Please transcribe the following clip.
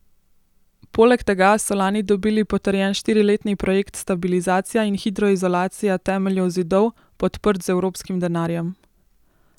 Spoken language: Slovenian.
Poleg tega so lani dobili potrjen štiriletni projekt stabilizacija in hidroizolacija temeljev zidov, podprt z evropskim denarjem.